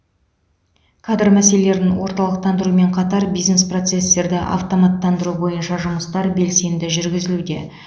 кадр мәселелерін орталықтандырумен қатар бизнес процестерді автоматтандыру бойынша жұмыстар белсенді жүргізілуде